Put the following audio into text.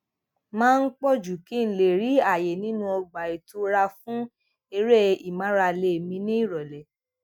máa ń pò jù kí n lè rí àyè nínú ọgbà ìtura fún eré ìmárale mi ní ìròlé